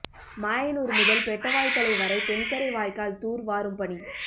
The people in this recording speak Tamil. மாயனூர் முதல் பெட்டவாய்த்தலை வரை தென்கரை வாய்க்கால் தூர் வாரும் பணி